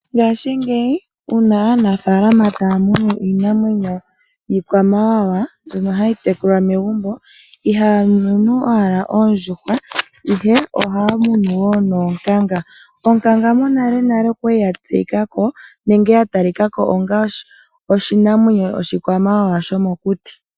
Ngaashi ngeyi uuna aanafalama taya munu iinamwenyo yiikwamawawa mbyono hayi tekulwa megumbo ihaya munu owala oondjuhwa ihe ohaya munu noonkanga. Oonkanga monale nale okwali ya tseyika ko onga oshinamwenyo oshikwamawawa shomokuti.